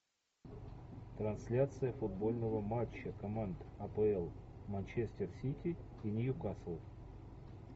трансляция футбольного матча команд апл манчестер сити и ньюкасл